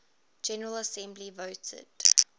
general assembly voted